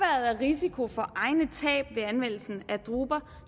af risiko for egne tab ved anvendelse af droner